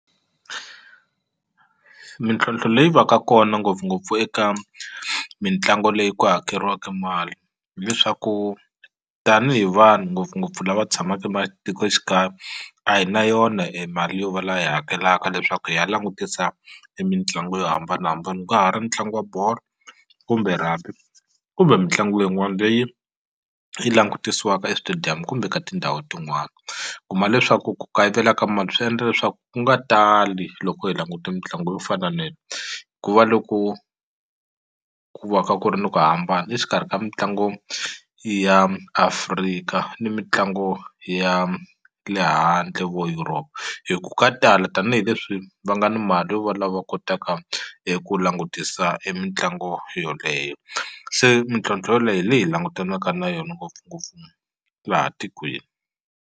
Mintlhontlho leyi va ka kona ngopfungopfu eka mitlangu leyi ku hakeriwaka e mali hileswaku tanihi vanhu ngopfungopfu lava tshamaka ematikoxikaya a hi na yona e mali yo va la hi hakelaka leswaku hi ya langutisa e mitlangu yo hambanahambana ka ha ri ntlangu wa bolo kumbe rugby kumbe mitlangu leyin'wani leyi yi langutisiwaka eswitediyamu kumbe ka tindhawu tin'wani kuma leswaku ku kayivela ka mali swi endla leswaku u nga tali loko hi languta mitlangu yo fana ku va loko ku va ka ku ri ni ku hambana exikarhi ka mitlangu ya Afrika ni mitlangu ya le handle vo Europe hi ku ka tala tanihileswi va nga ni mali yo va lava kotaka eku langutisa e mitlangu yoleyo se mintlhontlho yoleyo hi leyi langutanaka na yona laha tikweni.